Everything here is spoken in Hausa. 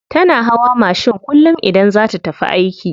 Tana hawa mashin kullum idan za ta tafi aiki.